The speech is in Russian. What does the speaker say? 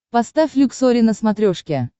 поставь люксори на смотрешке